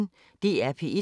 DR P1